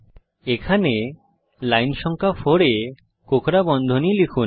এখানে লাইন সংখ্যা 4 এ কোঁকড়া বন্ধনী লিখুন